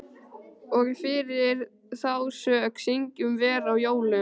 Og fyrir þá sök syngjum vér á jólum